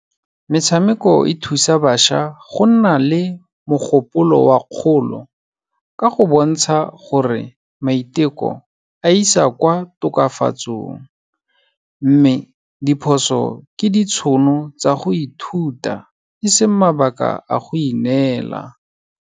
Metshameko e thusa bašwa go nna le mogopolo wa kgolo, ka go bontsha gore maiteko a isa kwa tokafatsong, mme diphoso ke ditshono tsa go ithuta, eseng mabaka a go ineela.